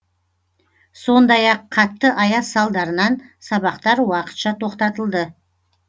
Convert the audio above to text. сондай ақ қатты аяз салдарынан сабақтар уақытша тоқтатылды